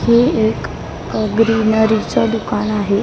हि एक अ ग्रीनरी च दुकान आहे.